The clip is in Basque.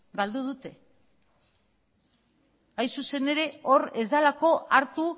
galdu dute hain zuzen ere hor ez delako hartu